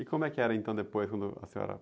E como é que era então depois quando a senhora...